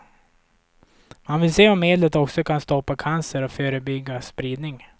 Man vill se om medlet också kan stoppa cancer och förebygga spridning.